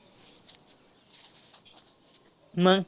त्या अधिवेशन मध्ये अध्यक्ष म्हणून अ जवाहरलाल नेहरू यांना अध्यक्षपद देण्यात आले .